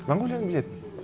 монғолияны біледі